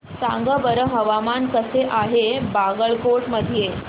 सांगा बरं हवामान कसे आहे बागलकोट मध्ये